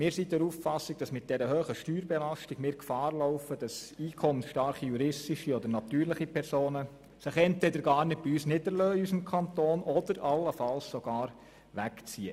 Wir sind der Auffassung, mit dieser hohen Steuerbelastung Gefahr zu laufen, dass sich juristische oder natürliche Personen entweder gar nicht im Kanton niederlassen oder allenfalls sogar wegziehen.